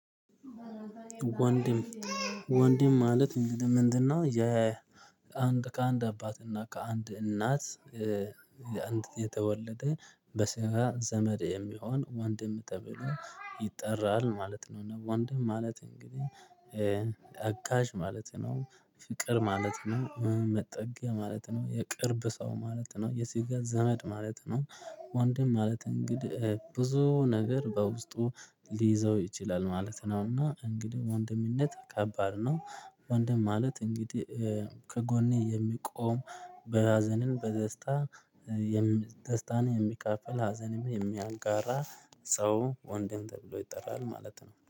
ወንድም ወንድም ማለት እንግዲህ ምንድነው? የ ከአንድ አባት እና ከአንድ እናት የአንድ የተወለደ በስራ ዘመድ የሚሆን ወንድም ተብሎ ይጠራል ማለት ነው። እና ወንድም ማለት እንግዲህ አጋዥ ማለት ነው። ፍቅር ማለት ነው መጠጊያ ማለት ነው የቅርብ ሰው ማለት ነው የስጋ ዘመድ ማለት ነው። ወንድም ማለት እንግዲህ ብዙ ነገር በውስጡ ሊይዘው ይችላል ማለት ነው። እና እንግዲህ ወንድምነት ከባድ ነው። ወንድም ማለት እንግዲህ ከጎኔ የሚቆም በሀዘንም በደስታየሚ ደስታን የሚካፈል ሀዘንን የሚያጋራ ሰው ወንድም ተብሎ ይጠራል ማለት ነው